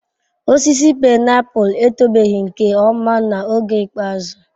Osisi painiapulu etobeghị nke ọma n'oge ikpeazụ.